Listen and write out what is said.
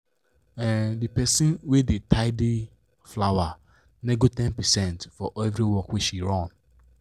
um the person wey da tidy flower nego ten percent for every work wey she run